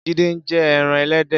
Jide n jè èràn èlèdè